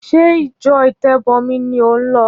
Ṣé ìjọ ìtẹ́bọmi ni ò ń lọ?